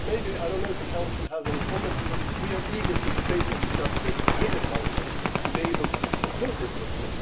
I do not know if the Council has any comments, because we are eager to debate and discuss this with the Council in order to be able to conclude this quickly.